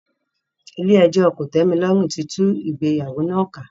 Ilé ẹjọ́ kòtẹ́milọ́rùn tí tú ìgbéyàwó náà ká.